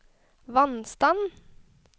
vannstand